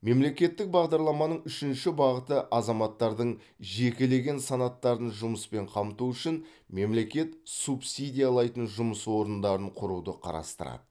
мемлекеттік бағдарламаның үшінші бағыты азаматтардың жекелеген санаттарын жұмыспен қамту үшін мемлекет субсидиялайтын жұмыс орындарын құруды қарастырады